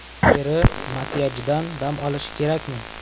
Teri makiyajdan dam olishi kerakmi?